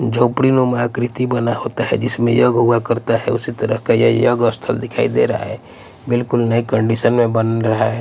झोपड़ी नुमा आकृति बना होता है जिसमें योग हुआ करता है उसी तरह का ये योग स्थल दिखाई दे रहा है बिल्कुल नए कंडीशन में बन रहा है।